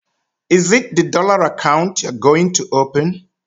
Is it the dollar account you are going to open?